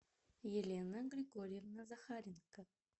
елена григорьевна захаренко